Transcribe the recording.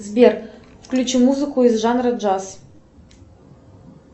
сбер включи музыку из жанра джаз